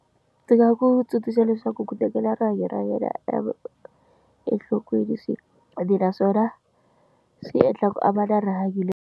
Ndzi nga ku tsundzuxa leswaku ku tekela rihanyo ra yena e enhlokweni swinene naswona swi endla ku a va na rihanyo le.